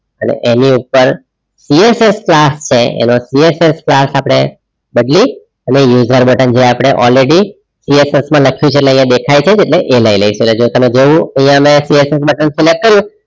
અને એની ઉપર CSS class છે એનો cssclass આપણે બદલીએ અને user button જે આપડે already CSS માં લખ્યું છે એટલે અહિયાં દેખાય છે એટલે એ લઈ લઈશું જો તમારે જોવું અહિયાં મે css button select કર્યું,